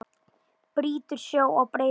Brýtur sjó á breiðum herðum.